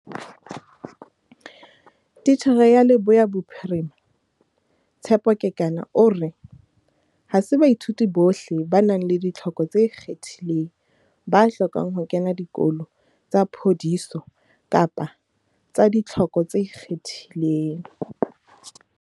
Titjhere ya Leboya Bophirima, Tshepo Kekana o re, "Ha se baithuti bohle ba nang le ditlhoko tse ikgethileng ba hlokang ho kena dikolo tsa phodiso kapa tsa ditlhoko tse ikgethileng."